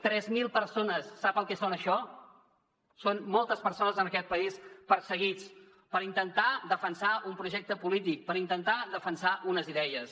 tres mil persones sap el que són això són moltes persones en aquest país perseguits per intentar defensar un projecte polític per intentar defensar unes idees